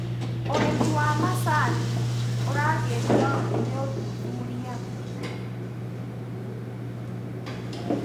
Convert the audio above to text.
ũrĩmi wa macani ũragĩrio nĩũthuthuria.